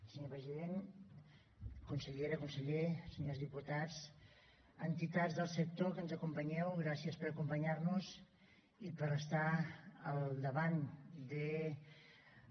senyor president consellera conseller senyors diputats entitats del sector que ens acompanyeu gràcies per acompanyar nos i per estar al davant de